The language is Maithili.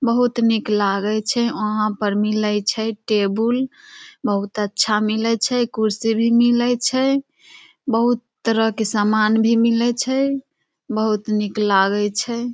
बहुत निक लगय छै वहाँ पर मिलय छै टेबुल बहुत अच्छा मिलय छै कुर्सी भी मिलय छै बहुत तरह के सामान भी मिलय छै बहुत नीक लागय छै ।